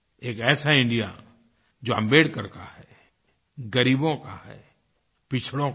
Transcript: एक ऐसा इंडिया जो आम्बेडकर का है ग़रीबों का है पिछड़ों का है